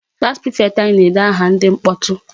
Class prefect anyị na-ede aha ndị mkpọtụ.